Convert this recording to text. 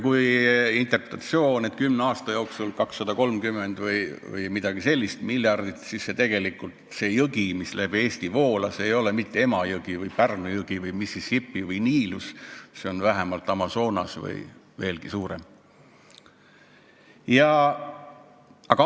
Kui me interpreteerime, et kümne aasta jooksul liikus 230 või umbes nii miljardit, siis tegelikult see jõgi, mis läbi Eesti voolas, ei ole mitte Emajõgi või Pärnu jõgi või Mississippi või Niilus, see on vähemalt Amazonas või mõni veelgi suurem jõgi.